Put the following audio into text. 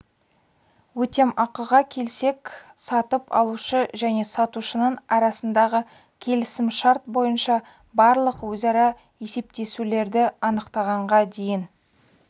өтемақыға келсек сатып алушы және сатушының арасындағы келісімшарт бойынша барлық өзара есептесулерді анықтағанға дейін